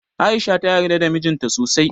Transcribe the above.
A'isha ta yarda da mijin ta sosai.